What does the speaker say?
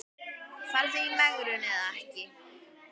Farðu í megrun eða ekki.